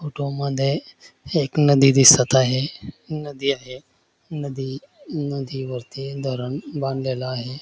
Photo मध्ये एक नदी दिसत आहे नदी आहे नदी अ नदीवरती धरण बांधलेलं आहे.